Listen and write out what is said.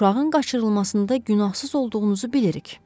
Uşağın qaçırılmasında günahsız olduğunuzu bilirik.